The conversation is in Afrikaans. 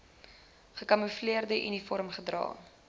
gekamoefleerde uniform gedra